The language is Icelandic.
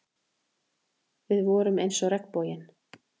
Við vorum eins og regnboginn.